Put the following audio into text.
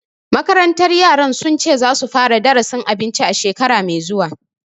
Makarantar yaran sun ce za su fara darasin abinci shekara mai zuwa